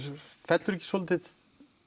fellur ekki svolítið